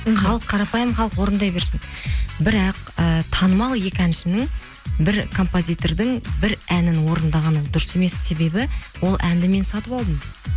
халық қарапайым халық орындай берсін бірақ і танымал екі әншінің бір композитордың бір әнін орындағаны ол дұрыс емес себебі ол әнді мен сатып алдым